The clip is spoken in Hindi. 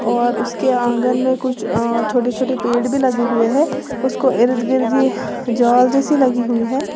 और उसके आंगन में कुछ अ छोटे छोटे पेड़ भी लगे हुए हैं उसको इर्द गिर्द ये जाल जैसी लगी हुई है।